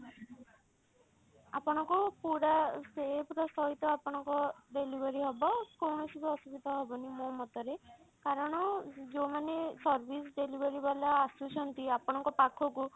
ଆପଣଙ୍କୁ ପୁରା safe ର ସହିତ ଆପଣଙ୍କ delivery ହବ କୌଣସି ବି ଅସୁବିଧା ହବନି ମୋ ମତ ରେ କାରଣ ଯଉମାନେ service delivery ବାଲା ଆସୁଛନ୍ତି ଆପଣଙ୍କ ପାଖକୁ